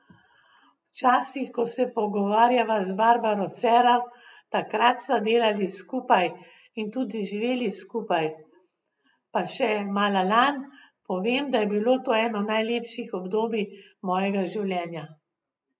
Včasih, ko se pogovarjava z Barbaro Cerar, takrat sva delali skupaj in tudi živeli sva skupaj, pa še Malalan, povem, da je bilo to eno najlepših obdobij mojega življenja.